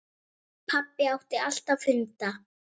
Pabbi átti alltaf hunda.